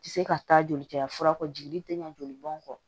Tɛ se ka taa joli caya fura kɔ jiginni tɛ ɲɛ joli bɔn kɔ